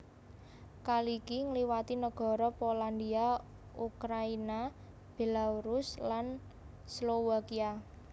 Kaliki ngliwati negara Polandia Ukraina Belarus lan Slowakia